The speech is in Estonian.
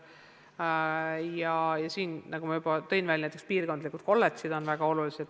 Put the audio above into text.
Ja siin on väga olulised, nagu ma juba näiteks tõin, piirkondlikud kolledžid.